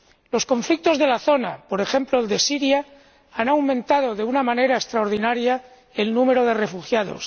Los conflictos de la zona —por ejemplo, el de Siria— han aumentado de una manera extraordinaria el número de refugiados